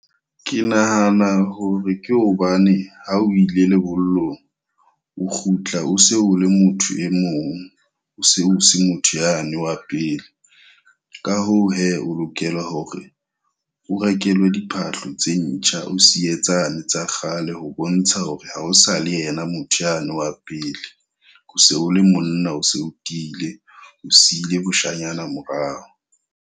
Ke nahana hore ke hobane ha o ile lebollong o kgutla o se o le motho e mong. O se o se motho yane wa pele. Ka hoo he, o lokela hore o rekelwe diphahlo tse ntjha o siye tsane tsa kgale ho bontsha hore ha o sa le yena motho yane wa pele. O se o le monna, o se o tiile, o sile boshanyana morao.